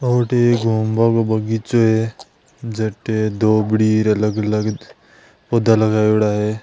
ओ अठे ए घूमबा को बगीचों है जटे धोबड़ी अलग-अलग पौधा लगायोडा है।